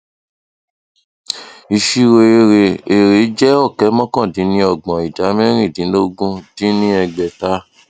ìṣirò èrè èrè jẹ ọkẹ mọkàndínníọgbọn ìdá mẹrìndínlógún dín ní ẹgbẹta